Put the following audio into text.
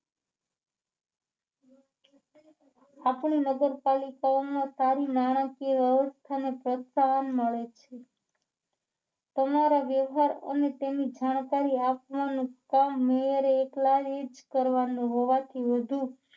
આપણી નગરપાલિકામાં સારી નાણાકીય વ્યવસ્થાને પ્રોત્સાહન મળે છે તમારા વ્યવહાર અને તેની જાણકારી આપવાનું કામ મેયરે એકલાએ જ કરવાનું હોવાથી વધુ